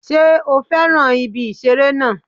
Sé ó fẹ́ràn ibi ìṣeré náà